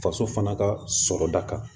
Faso fana ka sɔrɔda kan